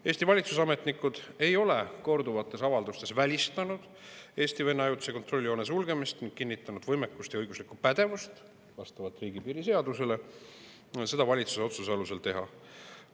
Eesti valitsusametnikud ei ole korduvates avaldustes välistanud Eesti-Vene ajutise kontrolljoone sulgemist ja on kinnitanud võimekust ja õiguslikku pädevust seda vastavalt riigipiiri seadusele valitsuse otsuse alusel teha.